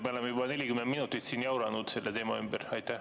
Me oleme juba 40 minutit selle teema ümber jauranud.